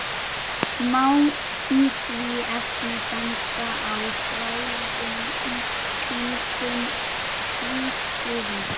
Má í því efni benda á svæðin kringum Krýsuvík